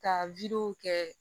Ka kɛ